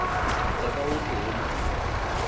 etsa ka hohle ho matleng